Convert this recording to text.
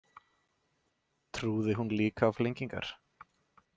Trúði hún líka á flengingar?